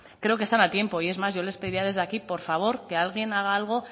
creo que están a tiempo y es más yo les pedía desde aquí por favor que alguien haga algo